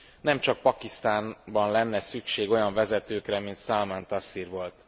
Nemcsak Pakisztánban lenne szükség olyan vezetőkre, mint Szalmán Taszír volt.